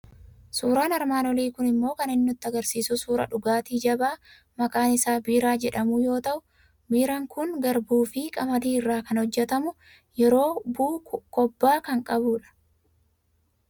Suuraan armaan olii kun immoo kan inni nutti argisiisu suuraa dhugaatii jabaa maqaan isaa Biiraa jedhamu yoo ta'u, Biiraan kun garbuu fi qamadii irraa kan hojjetamu, yeroo bu'u kobba kan qabu dha.